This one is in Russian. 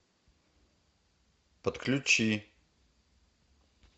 подключи